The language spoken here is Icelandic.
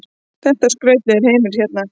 Þetta er skrautlegur heimur hérna.